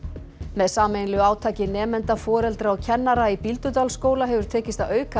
með sameiginlegu átaki nemenda foreldra og kennara í Bíldudalsskóla hefur tekist að auka